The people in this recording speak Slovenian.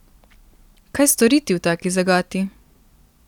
Kaj storiti v taki zagati?